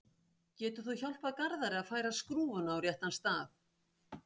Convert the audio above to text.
Getur þú hjálpað Garðari að færa skrúfuna á réttan stað?